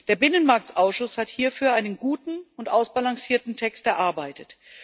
Der Binnenmarktausschuss hat hierfür einen guten und ausbalancierten Text erarbeitet.